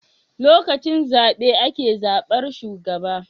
Lokacin zabe ake zabar shugaba